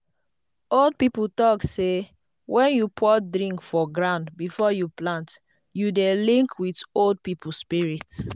old people talk say when you pour drink for ground before you plant you dey link with old people spirit.